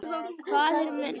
Faðir minn.